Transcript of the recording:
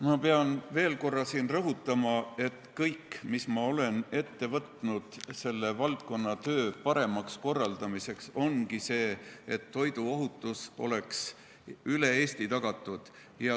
Ma pean veel korra rõhutama, et kõik, mis ma olen ette võtnud selle valdkonna töö paremaks korraldamiseks, ongi selleks, et toiduohutus oleks üle Eesti tagatud.